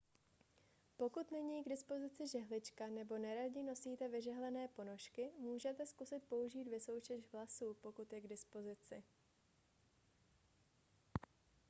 pokud není k dispozici žehlička nebo neradi nosíte vyžehlené ponožky můžete zkusit použít vysoušeč vlasů pokud je k dispozici